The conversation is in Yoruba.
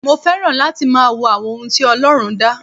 Mo fẹ́ràn láti máa wo àwọn ohun tí Ọlọ́run dá.